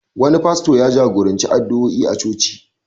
Wani fasto ya jagoranci addu'oi a coci.